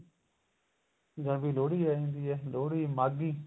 ਜਨਵਰੀ ਚ ਲੋਹੜੀ ਆ ਜਾਂਦੀ ਏ ਲੋਹੜੀ ਮਾਘੀ